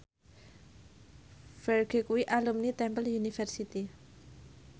Ferdge kuwi alumni Temple University